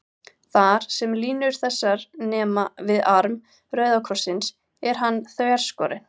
Þar, sem línur þessar nema við arm rauða krossins, er hann þverskorinn.